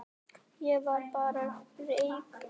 Ég var bara rekinn.